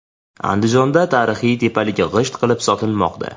Andijonda tarixiy tepalik g‘isht qilib sotilmoqda .